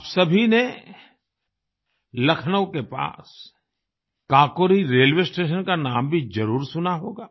आप सभी ने लखनऊ के पास काकोरी रेलवे स्टेशन का नाम भी जरुर सुना होगा